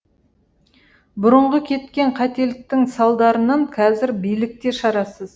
бұрынғы кеткен қателіктің салдарынан қазір билік те шарасыз